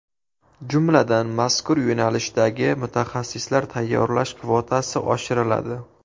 Jumladan, mazkur yo‘nalishdagi mutaxassislar tayyorlash kvotasi oshiriladi.